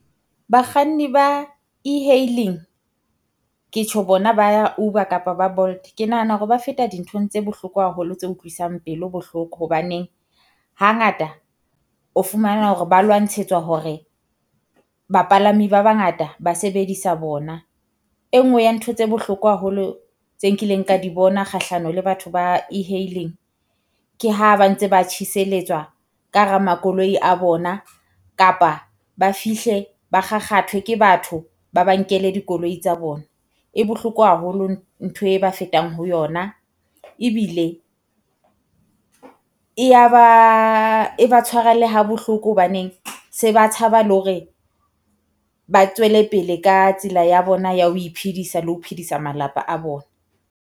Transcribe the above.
Bakganni ba e-hailing ke tjho bona ba ya Uber kapa ba Bolt. Ke nahana hore ba feta dinthong tse bohloko haholo tse utlwisang pelo bohloko hobane, hangata o fumana hore ba lwantshetswa hore bapalami ba bangata ba sebedisa bona. E nngwe ya ntho tse bohloko haholo tse nkileng ka di bona kgahlano le batho ba e-hailing ke ha ba ntse ba tjheseletswa ka hara makoloi a bona kapa ba fihle ba kgakgathwe ke batho, ba ba nkele dikoloi tsa bona. E bohloko haholo ntho e ba fetang ho yona. Ebile e ya ba e ba tshwara le ha bohloko hobaneng se ba tshaba le hore ba tswele pele ka tsela ya bona ya ho iphedisa le ho phedisa malapa a bona.